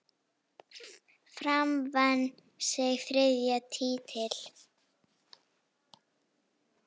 Fram vann sinn þriðja titil.